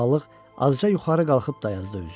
Balıq azca yuxarı qalxıb dayazda üzdü.